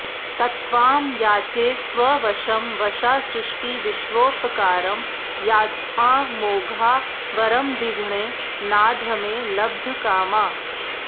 तत्त्वां याचे स्ववशमवशासृष्टिविश्वोपकारं याच्ञा मोघा वरमधिगुणे नाधमे लब्धकामा